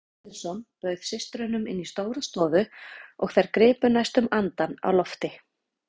Frú Pettersson bauð systrunum inn í stóra stofu og þær gripu næstum andann á lofti.